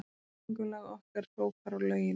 Göngulag okkar hrópar á lögin.